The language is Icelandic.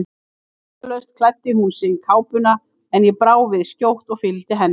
Orðalaust klæddi hún sig í kápuna, en ég brá við skjótt og fylgdi henni.